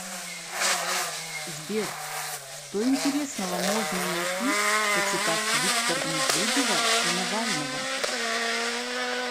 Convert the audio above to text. сбер что интересного можно найти почитав твиттер медведева и навального